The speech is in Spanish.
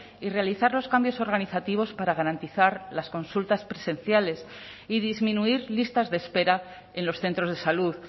y realizar los cambios organizativos para garantizar las consultas presenciales y disminuir listas de espera en los centros de salud